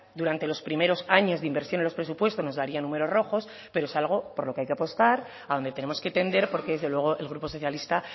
durante los primeros años de inversión en los presupuestos nos daría números rojos pero es algo por lo que hay que apostar a donde tenemos que tender porque desde luego el grupo socialista